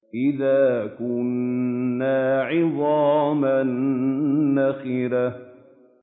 أَإِذَا كُنَّا عِظَامًا نَّخِرَةً